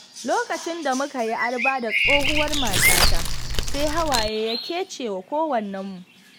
Lokacin da muka yi arba da tsohuwar matata, sai hawaye ya kece wa kowannenmu.